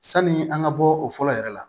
Sanni an ka bɔ o fɔlɔ yɛrɛ la